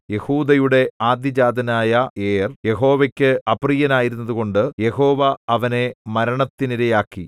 യെഹൂദായുടെ ആദ്യജാതനായ ഏർ യഹോവയ്ക്ക് അപ്രിയനായിരുന്നതുകൊണ്ട് യഹോവ അവനെ മരണത്തിനിരയാക്കി